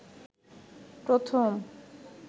প্রথম